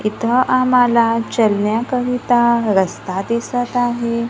इथं आम्हाला चलण्या करिता रस्ता दिसतं आहे.